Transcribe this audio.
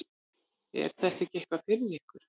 Er þetta ekki eitthvað fyrir ykkur